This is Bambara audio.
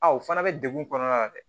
A o fana bɛ degun kɔnɔna na dɛ